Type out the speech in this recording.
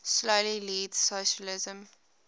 slowly leads socialism